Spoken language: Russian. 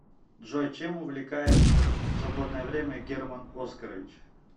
джой чем увлекается в свободное время герман оскарович